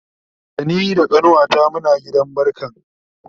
Da ni da kanuwata Muna gidan barkan